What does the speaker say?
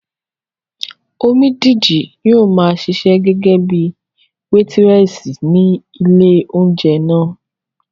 Omídìji yóò maa ṣiṣẹ́ gẹ́gẹ́bíi wétírẹ̀sì ní ilé óúnjẹ náà